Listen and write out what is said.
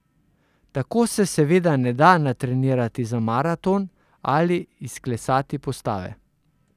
Tako se seveda ne da natrenirati za maraton ali izklesati postave.